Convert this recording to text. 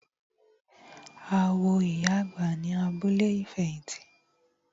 A wo ìyá àgbà ní abúlé ìfẹ̀hìtì.